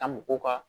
A mɔgɔw ka